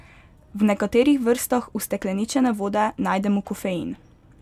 V nekaterih vrstah ustekleničene vode najdemo kofein.